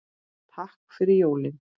Takk fyrir jólin.